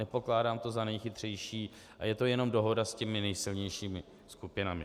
Nepokládám to za nejchytřejší a je to jenom dohoda s těmi nejsilnějšími skupinami.